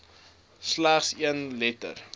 slegs een letter